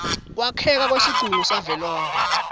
kwakheka kwesigungu savelonkhe